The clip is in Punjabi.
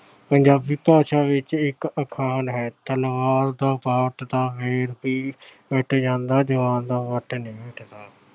ਪੰਜਾਬੀ ਭਾਸ਼ਾ ਵਿੱਚ ਇਕ ਅਖਾਣ ਹੈ- ਤਲਵਾਰ ਦਾ ਪੱਟ ਦਾ ਫਿਰ ਵੀ ਕੱਟ ਜਾਂਦਾ, ਜੁਬਾਨ ਦਾ ਨਹੀਂ ਹੱਟਦਾ।